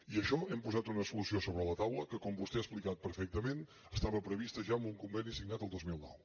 i això hem posat una solució sobre la taula que com vostè ha explicat perfectament estava prevista ja amb un conveni signat el dos mil nou